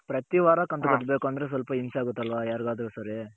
ಪ್ರತಿ ವಾರ ಕಂತು ಕಟ್ಟಬೆಕಂದ್ರೆ ಸ್ವಲ್ಪ ಹಿಂಸೆ ಆಗುತ್ತ ಅಲ್ವ ಯರ್ಗದ್ರು ಸರಿ